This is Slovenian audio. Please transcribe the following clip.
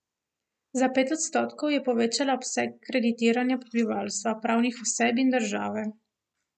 Za pet odstotkov je povečala obseg kreditiranja prebivalstva, pravnih oseb in države.